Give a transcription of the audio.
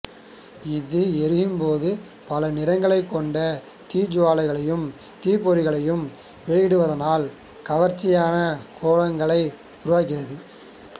இது எரியும்போது பல நிறங்களைக் கொண்ட தீச்சுவாலையையும் தீப்பொறிகளையும் வெளிவிடுவதனால் கவர்ச்சியான கோலங்களை உருவாக்குகின்றது